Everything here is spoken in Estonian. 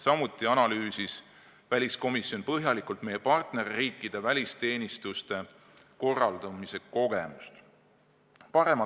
Samuti analüüsis väliskomisjon põhjalikult meie partnerriikide välisteenistuste korraldamise kogemusi.